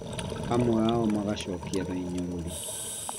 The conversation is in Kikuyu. Amwe ao magacokia na inyũrũri